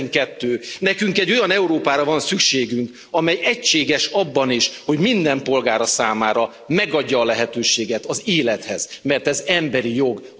12. Nekünk egy olyan Európára van szükségünk, amely egységes abban is, hogy minden polgára számára megadja a lehetőséget az élethez, mert ez emberi jog.